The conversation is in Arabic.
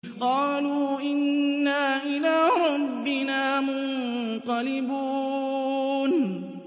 قَالُوا إِنَّا إِلَىٰ رَبِّنَا مُنقَلِبُونَ